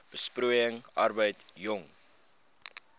besproeiing arbeid jong